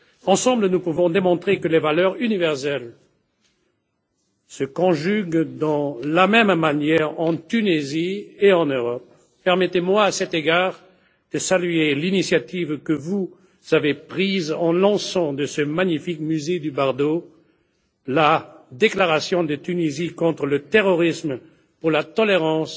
Ensemble, nous pouvons démontrer que les valeurs universelles se conjuguent de la même manière en Tunisie et en Europe. Permettez moi, à cet égard, de saluer l'initiative que vous avez prise en lançant, depuis le magnifique musée du Bardo, la déclaration de la Tunisie contre le terrorisme, pour la tolérance